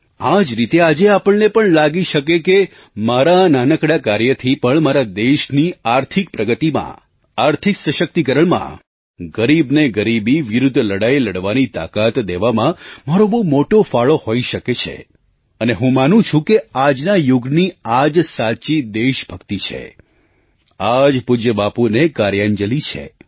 આ જ રીતે આજે આપણને પણ લાગી શકે છે કે મારા આ નાનકડા કાર્યથી પણ મારા દેશની આર્થિક પ્રગતિમાં આર્થિક સશક્તિકરણમાં ગરીબને ગરીબી વિરુદ્ધ લડાઈ લડવાની તાકાત દેવામાં મારો બહુ મોટો ફાળો હોઈ શકે છે અને હું માનું છું કે આજના યુગની આ જ સાચી દેશભક્તિ છે આ જ પૂજ્ય બાપુને કાર્યાંજલી છે